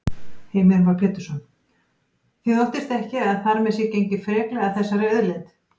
Heimir Már Pétursson: Þið óttist ekki að þar með sé gengið freklega að þessari auðlind?